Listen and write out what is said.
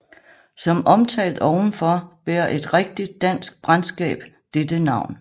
Som omtalt ovenfor bærer et rigtigt dansk brandskab dette navn